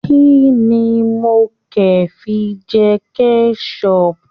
Kínní mo ke fi jẹ kẹsọpu?